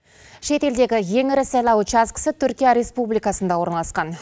шетелдегі ең ірі сайлау учаскісі түркия республикасында орналасқан